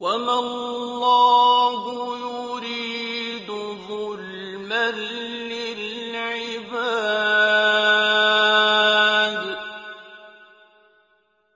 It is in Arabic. وَمَا اللَّهُ يُرِيدُ ظُلْمًا لِّلْعِبَادِ